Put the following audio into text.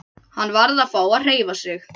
Hann varð að fá að hreyfa sig.